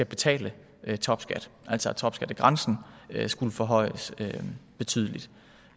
betale topskat altså at topskattegrænsen skulle forhøjes betydeligt